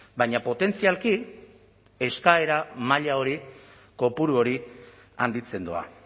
baina potentzialki eskaera maila hori kopuru hori handitzen doa